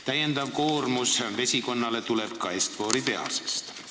Täiendav koormus vesikonnale tuleb ka Est-Fori tehasest.